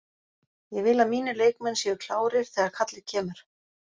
Ég vil að mínir leikmenn séu klárir þegar kallið kemur.